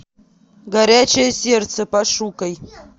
горячее сердце пошукай